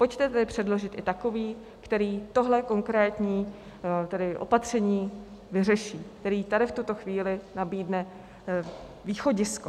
Pojďte tedy předložit i takový, který tohle konkrétní opatření vyřeší, který tady v tuto chvíli nabídne východisko.